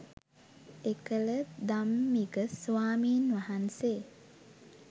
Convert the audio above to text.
එකල ධම්මික ස්වාමින්වහන්සේ